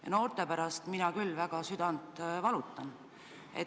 Ja noorte pärast mina küll valutan väga südant.